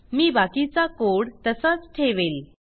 मी बाकीचा कोड तसाच ठेवेल